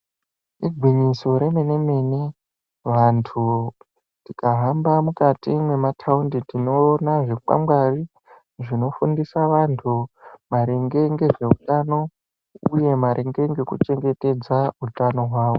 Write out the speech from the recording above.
Igwinyiso remene mene vantu tikahamba mukati memataundi tinoona zvikwangwari zvinofundisa vantu maringe ngezveutano uye maringe ngekuchengetedze utano hwawo.